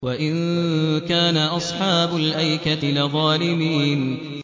وَإِن كَانَ أَصْحَابُ الْأَيْكَةِ لَظَالِمِينَ